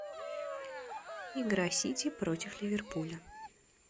игра сити против ливерпуля